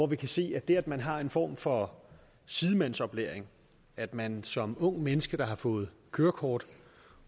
vi kan se at det at man har en form for sidemandsoplæring at man som ungt menneske der har fået kørekort